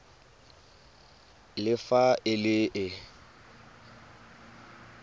le fa e le e